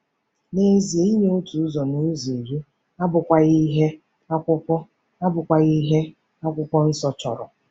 N'ezie, inye otu ụzọ n'ụzọ iri abụkwaghị ihe Akwụkwọ abụkwaghị ihe Akwụkwọ Nsọ chọrọ.